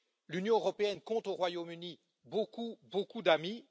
L'Union européenne compte au Royaume Uni beaucoup, beaucoup d'amis